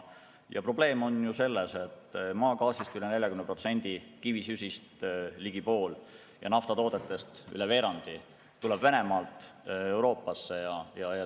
Probleem on selles, et maagaasist üle 40%, kivisöest ligi pool ja naftatoodetest üle veerandi tuleb Euroopasse Venemaalt.